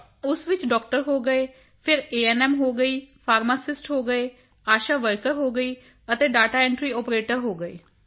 ਤਾਂ ਉਸ ਵਿੱਚ ਡਾਕਟਰ ਹੋਵੇ ਫਿਰ ਏਐਨਐਮ ਹੋ ਗਈ ਫਾਰਮਾਸਿਸਟ ਹੋ ਗਏ ਆਸ਼ਾ ਵਰਕਰ ਹੋ ਗਈ ਅਤੇ ਦਾਤਾ ਐਂਟਰੀ ਆਪਰੇਟਰ ਹੋ ਗਏ